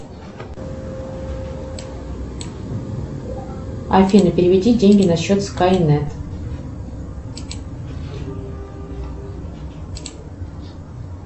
афина переведи деньги на счет скайнет